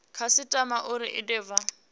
khasitama uri i de vha